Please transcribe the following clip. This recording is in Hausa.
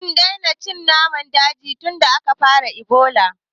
Mun daina cin naman daji tunda aka fara Ebola